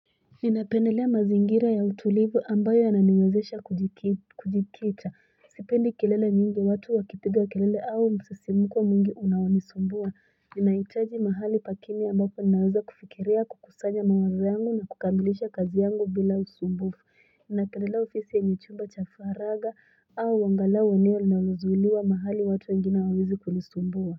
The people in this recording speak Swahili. Ninapendelea mazingira ya utulivu ambayo yananiwezesha kujikita. Sipendi kilele mingi watu wakipiga kilele msisimko mwingi unaonisumbua. Nina hitaji mahali pa kimya ambapo naweza kufikiria kukusanya mawazo yangu na kukamilisha kazi yangu bila usumbufu. Ninapendelea ofiisi yenye chumba cha faragha au angalau eneo linalozuiliwa mahali watu wengine hawawezi kunisumbua.